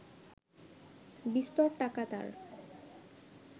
বিস্তর টাকা তার